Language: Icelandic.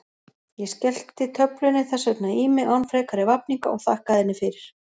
Ég skellti töflunni þess vegna í mig án frekari vafninga og þakkaði henni fyrir.